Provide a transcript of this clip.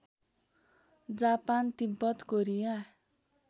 Japan Tibet Korea